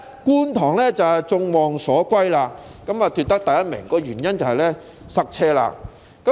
觀塘果然是眾望所歸，奪得第一名，原因便是交通擠塞。